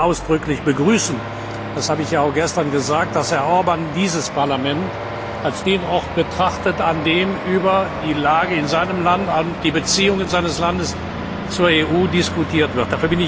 Ich will ausdrücklich begrüßen das habe ich ja auch gestern gesagt dass Herr Orbán dieses Parlament als den Ort betrachtet, an dem über die Lage in seinem Land und die Beziehungen seines Landes zur EU diskutiert wird.